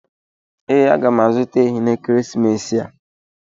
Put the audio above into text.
Ee, aga m azụta ehi n'ekeresimesi a.